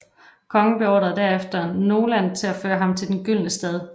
Kongen beordrede derefter Noland til at føre ham til den gyldne stad